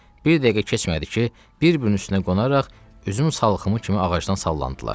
Bir dəqiqə keçmədi ki, bir-birinin üstünə qonaraq üzüm salxımı kimi ağacdan sallandılar.